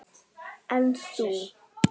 En þú?